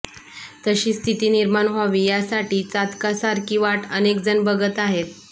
तशी स्थिती निर्माण व्हावी यासाठी चातकासारखी वाट अनेकजण बघत आहेत